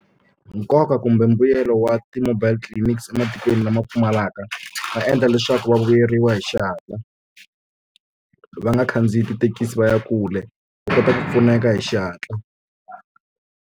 Nkoka kumbe mbuyelo wa ti-mobile clinics ematikweni lama pfumalaka va endla leswaku va vuyeriwa hi xihatla va nga khandziyi tithekisi va ya kule va kota ku pfuneka hi xihatla.